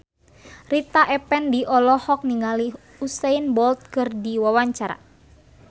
Rita Effendy olohok ningali Usain Bolt keur diwawancara